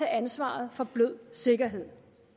ansvaret for blød sikkerhed